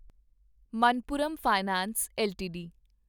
Manappuram finance LTD